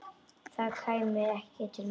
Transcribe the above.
Það kæmi ekki til mála.